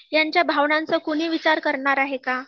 यांच्या भावनांचा कुणी विचार करणार आहे का